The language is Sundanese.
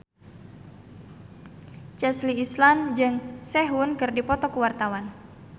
Chelsea Islan jeung Sehun keur dipoto ku wartawan